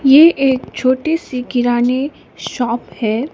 ये एक छोटी सी किराने शॉप है।